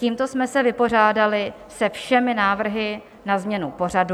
Tímto jsme se vypořádali se všemi návrhy na změnu pořadu.